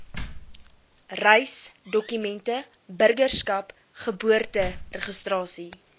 reisdokumente burgerskap geboorteregistrasie